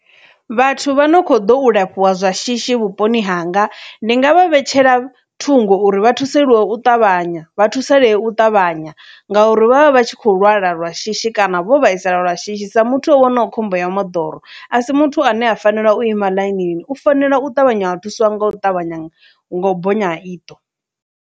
Vhathu vha no kho ḓo u lafhiwa zwa shishi vhuponi hanga ndi nga vha vhetshela thungo uri vha thusalewe u ṱavhanya vha thusalee u ṱavhanya ngauri vha vha vha tshi kho lwala lwa shishi kana vho vhaisala lwa shishi sa muthu o wanaho khombo ya moḓoro a si muthu ane a fanela u ima ḽainini, u fanela u ṱavhanya a thuswa nga u ṱavhanya nga u bonya ha iṱo